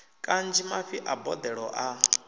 kanzhi mafhi a boḓelo a